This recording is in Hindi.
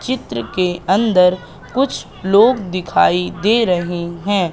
चित्र के अंदर कुछ लोग दिखाई दे रहे हैं।